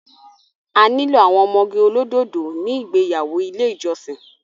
A nílò àwọn ọmọge olódòdó ní ìgbéyàwó ilé ìjọsìn